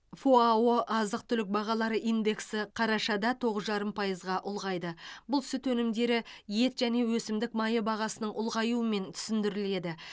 фао азық түлік бағалары индексі қарашада тоғыз жарым пайызға ұлғайды бұл сүт өнімдері ет және өсімдік майы бағасының ұлғаюымен түсіндіріледі